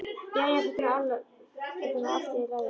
Jæja, þetta er nú allt í lagi.